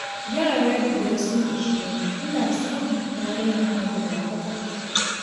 Yara biyar sun ishe ni, ina samu, na daina haihuwa kwata-kwata